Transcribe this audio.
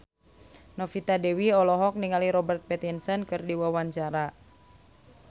Novita Dewi olohok ningali Robert Pattinson keur diwawancara